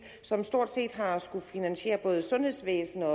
som stort set har skullet finansiere både sundhedsvæsen og